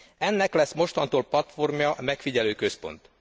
Ennek lesz mostantól platformja a megfigyelőközpont.